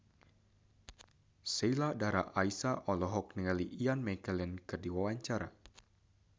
Sheila Dara Aisha olohok ningali Ian McKellen keur diwawancara